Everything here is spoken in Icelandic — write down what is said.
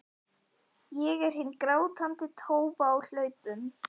Ég er hin grátandi tófa á hlaupunum.